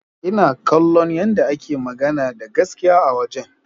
Ina kallon yadda yake magana da gaskiya a wajen.